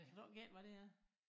Kan du ik gætte hvad det er